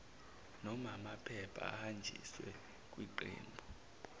nomaamaphepha ahanjiswe kwiqembu